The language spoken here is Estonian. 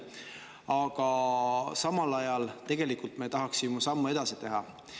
Aga samal ajal tegelikult me tahaksime sammu edasi teha.